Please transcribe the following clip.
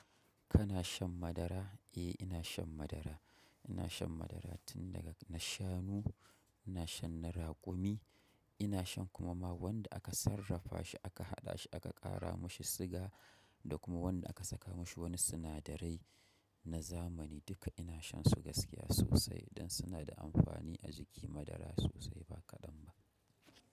Kana shan madara? Eh ina shan madara, ina shan madara tun daga na shanu, ina shan na raƙumi, ina shan kuma ma wanda aka sarrafa shi aka haɗa shi aka ƙara mashi suga da kuma wanda aka saka mashi wani sinadarai na zamani duka ina shan su gaskiya sosai don suna da amfani a jiki madara sosai ba kaɗan ba.